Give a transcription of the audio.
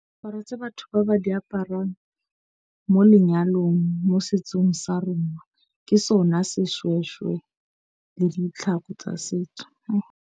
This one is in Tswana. batho ba ba di aparang mo lenyalong, mo setsong sa rona ke sona seshweshwe le ditlhako tsa setso.